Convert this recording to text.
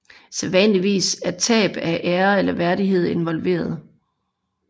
Sædvanligvis er tab af ære eller værdighed involveret